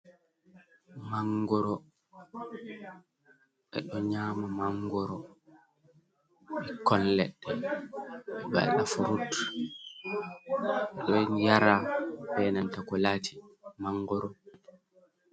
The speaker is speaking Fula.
"Mangoro" ɓe ɗo nyama mangoro bekkoi ledde ɓe ɗo wada furut ɗo yara be nanta ko laati mangoro.